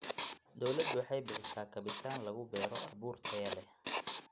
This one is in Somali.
Dawladdu waxay bixisa kabitaan lagu beero abuur tayo leh.